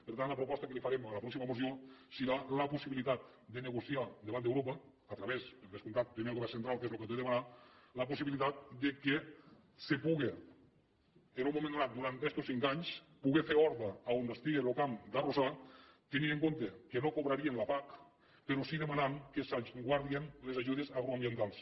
per tant la proposta que li farem a la pròxima moció serà la possibilitat de nego·ciar davant d’europa a través per descomptat primer del govern central que és qui ho ha de demanar la possibilitat que es pugui en un moment donat durant estos cinc anys poder fer horta on estigui lo camp d’ar·rossar tenint en comte que no cobrarien la pac però sí demanant que es guardin les ajudes agroambientals